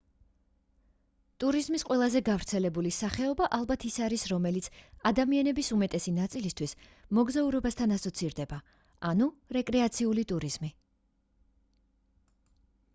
ტურიზმის ყველაზე გავრცელებული სახეობა ალბათ ის არის რომელიც ადამიანების უმეტესი ნაწილისთვის მოგზაურობასთან ასოცირდება ანუ რეკრეაციული ტურიზმი